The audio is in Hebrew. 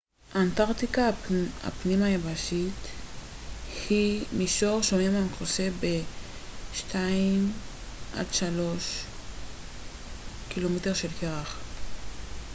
"אנטרקטיקה הפנים-יבשתית היא מישור שומם המכוסה ב-2-3 ק""מ של קרח.